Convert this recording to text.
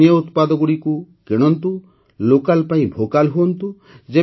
ସ୍ଥାନୀୟ ଉତ୍ପାଦଗୁଡ଼ିକୁ କିଣନ୍ତୁ ଲୋକାଲ୍ ପାଇଁ ଭୋକାଲ୍ ହୁଅନ୍ତୁ